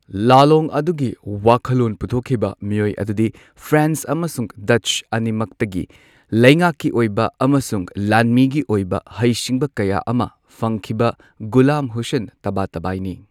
ꯂꯥꯂꯣꯡ ꯑꯗꯨꯒꯤ ꯋꯥꯈꯜꯂꯣꯟ ꯄꯨꯊꯣꯛꯈꯤꯕ ꯃꯤꯑꯣꯏ ꯑꯗꯨꯗꯤ ꯐ꯭ꯔꯦꯟꯁ ꯑꯃꯁꯨꯡ ꯗꯠꯆ ꯑꯅꯤꯃꯛꯇꯒꯤ ꯂꯩꯉꯥꯛꯀꯤ ꯑꯣꯏꯕ ꯑꯃꯁꯨꯡ ꯂꯥꯟꯃꯤꯒꯤ ꯑꯣꯏꯕ ꯍꯩꯁꯤꯡꯕ ꯀꯌꯥ ꯑꯃ ꯐꯪꯈꯤꯕ ꯒꯨꯂꯥꯝ ꯍꯨꯁꯦꯟ ꯇꯕꯥꯇꯕꯥꯏꯅꯤ꯫